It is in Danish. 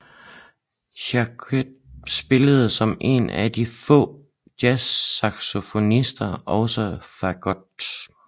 Jacquet spillede som en af de få jazzsaxofonister også Fagot